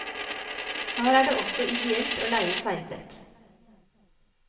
Her er det også ideelt å leie seilbrett.